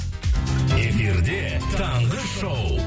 эфирде таңғы шоу